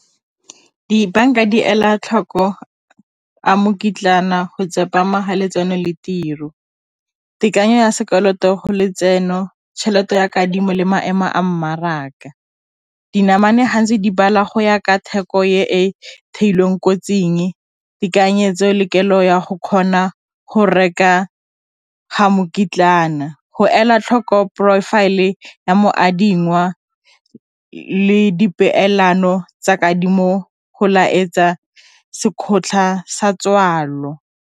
Dibanka di ela tlhoko a go tsepama ga letseno le tiro, tekanyo ya sekoloto go letseno tšhelete ya kadimo le maemo a mmarak, dinamane ga ntse di bala go ya ka theko e theilweng kotsing tekanyetso le kelo ya go kgona go reka ga go go ela tlhoko profile e ya moadingwa le di peelano tsa kadimo go laletsa .